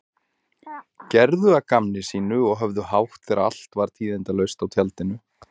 Gerðu að gamni sínu og höfðu hátt þegar allt var tíðindalaust á tjaldinu.